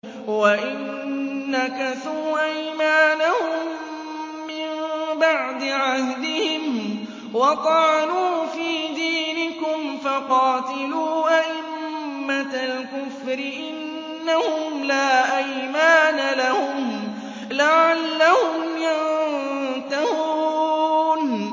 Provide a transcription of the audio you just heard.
وَإِن نَّكَثُوا أَيْمَانَهُم مِّن بَعْدِ عَهْدِهِمْ وَطَعَنُوا فِي دِينِكُمْ فَقَاتِلُوا أَئِمَّةَ الْكُفْرِ ۙ إِنَّهُمْ لَا أَيْمَانَ لَهُمْ لَعَلَّهُمْ يَنتَهُونَ